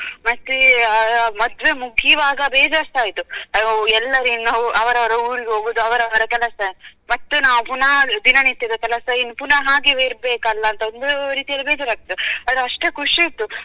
ಮತ್ತೆ ಮದ್ವೆ ಮುಗಿವಾಗ ಬೇಜಾರ್ಸ ಆಯ್ತು ಅದು ಎಲ್ಲರ ಇನ್ನು ಅವರವರ ಊರಿಗೆ ಹೋಗುದು ಅವರವರ ಕೆಲಸ ಮತ್ತೆ ನಾವು ಪುನಃ ದಿನ ನಿತ್ಯದ ಕೆಲಸ ಏನು ಪುನಃ ಹಾಗೇವೆ ಇರ್ಬೇಕಲ್ಲ ಅಂತೊಂದು ರೀತಿಯಲ್ಲಿ ಬೇಜಾರ್ ಆಗ್ತದೆ ಆದ್ರೆ ಅಷ್ಟೇ ಖುಷಿ ಇತ್ತು.